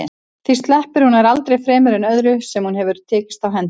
Því sleppir hún nær aldrei fremur en öðru sem hún hefur tekist á hendur.